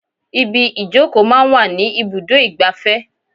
Ibi ìjókòó máa ń wà ní ibùdó igbàfẹ́.